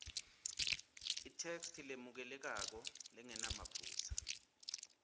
itheksthi lemukelekako lengenamaphutsa